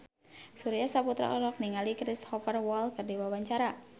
Surya Saputra olohok ningali Cristhoper Waltz keur diwawancara